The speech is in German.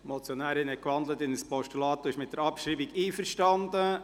Die Motionärin hat in ein Postulat gewandelt und ist mit der Abschreibung einverstanden.